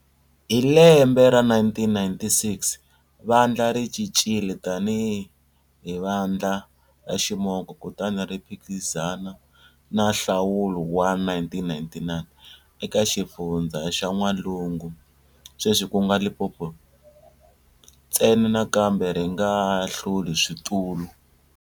Hi lembe ra 1996, vandla ri cincile tanihi Vandla ra Ximoko kutani ri phikizana eka nhlawulo wa 1999 eka Xifundza xa N'walungu, sweswi ku nga Limpopo, ntsena, nakambe ri nga hluli switulu.